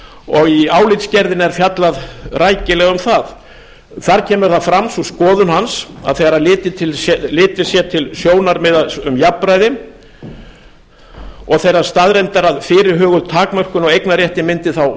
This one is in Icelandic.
og í álitsgerðinni er fjallað rækilega um það þar kemur fram sú skoðun hans að þegar litið sé til sjónarmiða um jafnræði og þeirrar staðreyndar að fyrirhuguð takmörkun á eignarrétti mundi þá